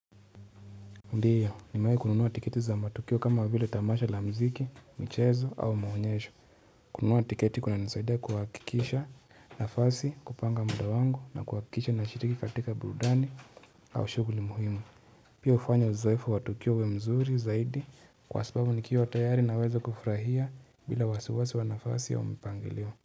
Ndio nimewahi kununua tiketi za matukio kama vile tamasha la mziki michezo au maonyesho kununuwa tiketi kunanisaidia kuhakikisha nafasi kupanga muda wangu na kuhakikisha nashiriki katika burudani au shughuli muhimu pia hufanya uzoevu wa tukio uwe mzuri zaidi kwa sababu nikiwa tayari naweza kufurahia bila wasawasi wa nafasi au mpangilio.